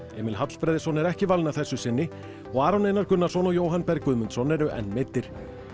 Emil Hallfreðsson er ekki valinn að þessu sinni og Aron Einar Gunnarsson og Jóhann Berg Guðmundsson eru enn meiddir